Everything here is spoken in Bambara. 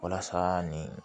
Walasa nin